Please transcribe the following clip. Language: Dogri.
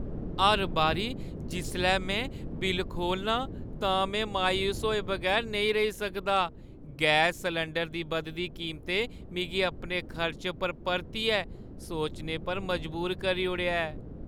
हर बारी जिसलै में बिल्ल खोह्‌लना आं, तां में मायूस होए बगैर नेईं रेही सकदा। गैस सलैंडरै दी बधदी कीमतें मिगी अपने खर्चें पर परतियै सोचने पर मजबूर करी ओड़ेआ ऐ।